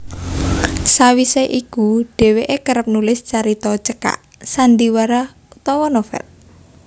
Sawise iku dheweke kerep nulis carita cekak sandhiwara utawa novel